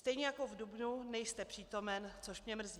Stejně jako v dubnu nejste přítomen, což mě mrzí.